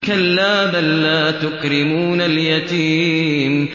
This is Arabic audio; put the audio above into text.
كَلَّا ۖ بَل لَّا تُكْرِمُونَ الْيَتِيمَ